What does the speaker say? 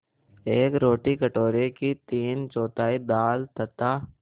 एक रोटी कटोरे की तीनचौथाई दाल तथा